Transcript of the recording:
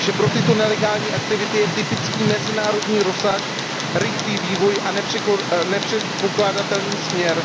Pro tyto nelegální aktivity je typický mezinárodní rozsah, rychlý vývoj a nepředpokládatelný směr.